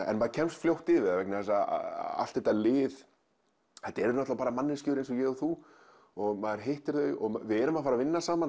en maður kemst fljótt yfir það allt þetta lið þetta eru bara manneskjur eins og ég og þú og maður hittir þau við erum að fara að vinna saman